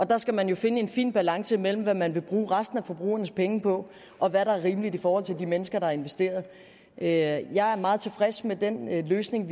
der skal man jo finde en fin balance mellem hvad man vil bruge resten af forbrugeres penge på og hvad der er rimeligt i forhold til de mennesker der har investeret jeg jeg er meget tilfreds med den løsning